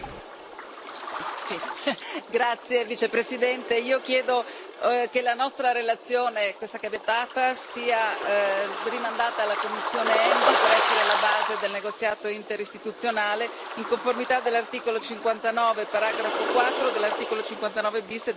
Signora Presidente, io chiedo che la nostra relazione, questa che abbiamo appena votato, sia rimandata alla commissione ENVI per essere la base del negoziato interistituzionale in conformità dell'articolo 59, paragrafo 4, dell'articolo 59 bis e dell'articolo 69 septies.